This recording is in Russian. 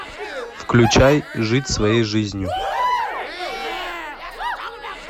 включай жить своей жизнью